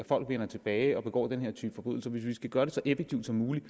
folk vender tilbage og begår den her type forbrydelser og hvis vi skal gøre det så effektivt som muligt